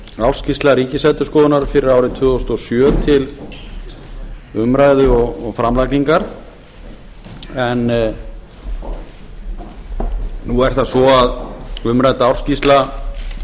ársskýrsla ríkisendurskoðunar fyrir árið tvö þúsund og sjö til umræðu og framlagningar en nú er það svo að umrædd ársskýrsla